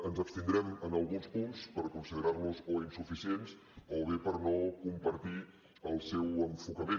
ens abstindrem en alguns punts per considerar los o insuficients o bé per no compartir el seu enfocament